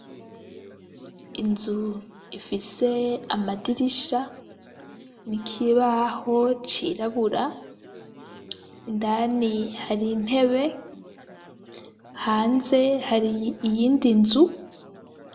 Inzu ifise amadirisha n'ikibaho c'irabura indani hari intebe, hanze hari iyindi nzu.